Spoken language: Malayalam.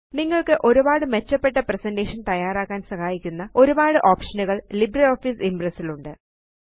നിങ്ങള്ക്ക് ഒരുപാട് മെച്ചപ്പെട്ട പ്രസന്റേഷൻ തയ്യാറാക്കാന് സഹായിക്കുന്ന ഒരുപാട് ഓപ്ഷനുകള് ലിബ്രിയോഫീസ് ഇംപ്രസ് ലുണ്ട്